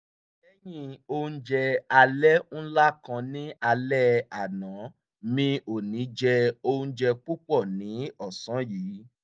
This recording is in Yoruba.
lẹ́yìn oúnjẹ alẹ́ ńlá kan ní álẹ́ àná mi ò ní jẹ oúnjẹ púpọ̀ ní ọ́sàn yìí